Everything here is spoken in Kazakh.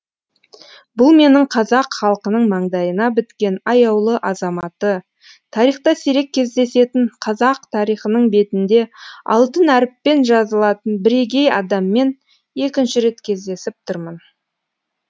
бұл менің қазақ халқының маңдайына біткен аяулы азаматы тарихта сирек кездесетін қазақ тарихының бетінде алтын әріппен жазылатын бірегей адаммен екінші рет кездесіп тұрмын